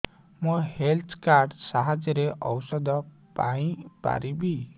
ମୁଁ health card ସାହାଯ୍ୟରେ ଔଷଧ ପାଇ ପାରିବି